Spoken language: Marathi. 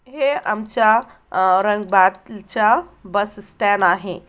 हे आमच्या अ औरंगाबादच्या बस अ स्टॅन्ड आहे.